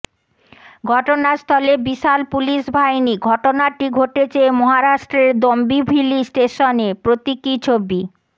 ঘটনাস্থলে বিশাল পুলিশ বাহিনী ঘটনাটি ঘটেছে মহারাষ্ট্রের দম্বিভিলি স্টেশনে প্রতীকী ছবি